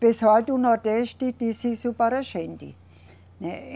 Pessoal do Nordeste disse isso para a gente, né.